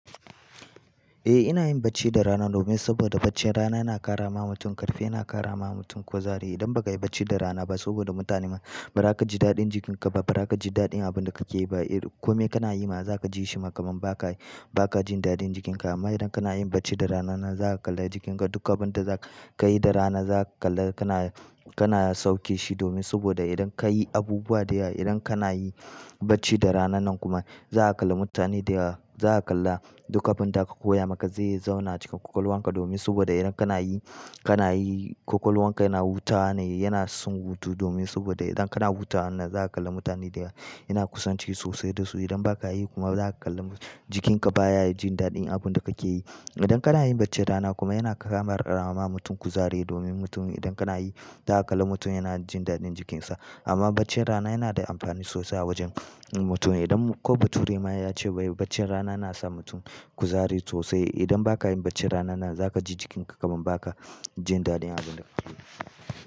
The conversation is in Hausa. Eh ina yin bacci da rana domin saboda bacci rana yana ƙara ma mutum ƙarfi, yana ƙara ma mutum kuzari. Idan ba kai bacci da rana ba saboda mutane ma ba za ka ji daɗin jikinka ba, ba za ka ji daɗin abin da ka ke yi ba. Eh kome kana yi ma za ka ji shi ba kamur ba ka, ba ka jin daɗin jikinka. Amma idan kana yin bacci da rana nan za ka kalla jikinka, duk abin da za ka yi da rana za ka kalla kana, kana sauke shi domin saboda idan ka yi abubuwa da yawa, idan kana yi bacci da rana nan kuma za ka kalla mutane da ya, za ka kalla duka abin da ka koya maka zai zauna cikin ƙwaƙwalwanka domin saboda idan kana yi, kana yi ƙwaƙwalwanka yana wuta ne, yana son hutu domin saboda idan kana huta wanna za ka kalla mutane da yawa, yana kusan ci sosai da su. Idan ba ka yi kuma za ka kalla jikinka baya jin daɗin abin da ka ke yi. Idan kana yin bacci da rana kuma yana ƙara ma mutum kuzari domin mutum idan kana yi za ka kalla mutum yana jin daɗin jikinsa. Amma bacci rana yana da amfani sosai a wajen mutum. Idan ko bature ma ya ce ba yi bacci rana na sa mutum kuzari sosai. Idan ba ka yin bacci rana nan za ka ji jikinka kaman ba ka jin daɗin abin da ka ke yi.